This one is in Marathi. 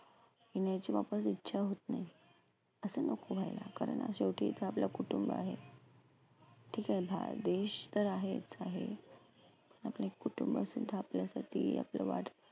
येण्याची वापस इच्छा होत नाही. असं नको व्हायला. कारण शेवटी इथं आपलं कुटुंब आहे. ठिके हा देश तर आहेच आहे पण एक कुटुंब सुद्धा आपल्यासाठी आपलं वाट